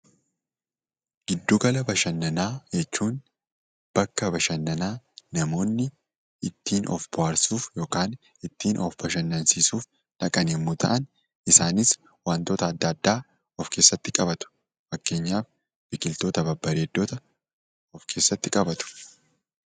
Giddu gala bashannanaa jechuun bakka bashannanaa namoonni ittiin of bohaarsuuf yookan ittiin of bashannansiisuuf dhaqan yemmuu ta'an, isaanis wantoota adda addaa of keessatti qabatu. Fakkeenyaaf biqiltoota babbareeddota of keessatti qabatu.